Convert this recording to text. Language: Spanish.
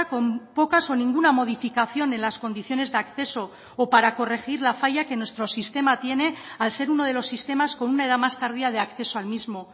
con pocas o ninguna modificación en las condiciones de acceso o para corregir la falla que nuestro sistema tiene al ser uno de los sistemas con una edad más tardía de acceso al mismo